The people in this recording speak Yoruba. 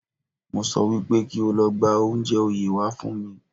Mo sọ wípé kí o lọ gba oúnjẹ oyè wá fún mi